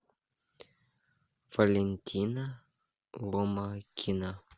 валентина ломакина